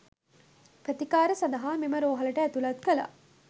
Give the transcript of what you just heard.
ප්‍රතිකාර සඳහා මෙම රෝහලට ඇතුළත් කළා